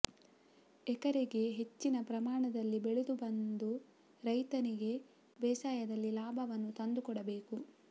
ಎಕರೆಗೆ ಹೆಚ್ಚಿನ ಪ್ರಮಾಣದಲ್ಲಿ ಬೆಳೆದುಬಂದು ರೈತನಿಗೆ ಬೇಸಾಯದಲ್ಲಿ ಲಾಭವನ್ನು ತಂದು ಕೊಡಬೇಕು